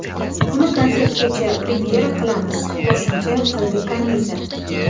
Uni konsertgacha premyera qilamiz”, qo‘shimcha qildi Kaniza.